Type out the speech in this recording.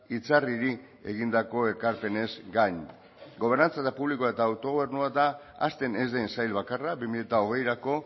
itzarriri egindako ekarpenez gain gobernantza publiko eta autogobernua da hazten ez den sail bakarra bi mila hogeirako